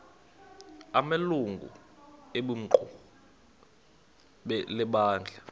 amalungu equmrhu lebandla